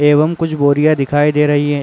एवं कुछ बोरियां दिखाई दे रही है।